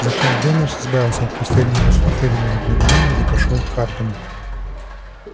затем венус избавился от последнего расфуфыренного дворянина и пошёл к хардину